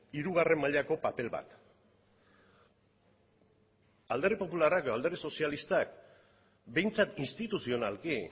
hirugarren mailako paper bat alderdi popularrak edo alderdi sozialistak behintzat instituzionalki